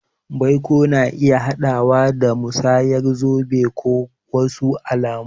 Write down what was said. Baiko na iya haɗawa da musayar zobe ko wasu alamu.